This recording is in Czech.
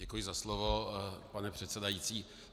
Děkuji za slovo, pane předsedající.